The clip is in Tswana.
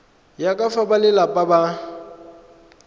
ya ka fa balelapa ba